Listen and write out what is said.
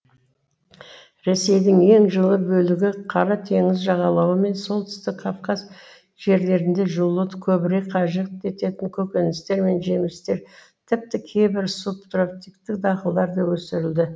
ресейдің ең жылы бөлігі қара теңіз жағалауы мен солтүстік кавказ жерлерінде жылуды көбірек қажет ететін көкөністер мен жемістер тіпті кейбір субтропиктік дақылдар да өсірілді